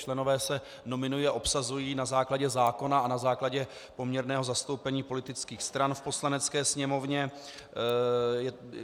Členové se nominují a obsazují na základě zákona a na základě poměrného zastoupení politických stran v Poslanecké sněmovně.